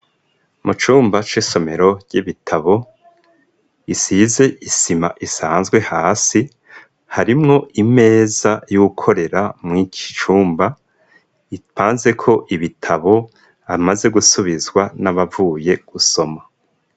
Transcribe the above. Mu cumba c'isomero ry'ibitabo isize isima isanzwe hasi harimwo imeza y'ukorera mw'iki cumba ipanze ko ibitabo amaze gusubizwa n'abavuye gusoma.